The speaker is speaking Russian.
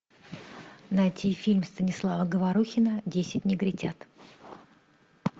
найти фильм станислава говорухина десять негритят